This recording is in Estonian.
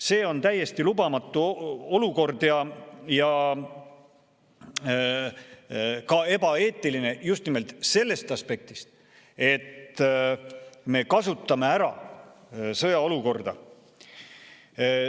See on täiesti lubamatu olukord ja ka ebaeetiline just nimelt sellest aspektist, et me kasutame ära sõjaolukorda.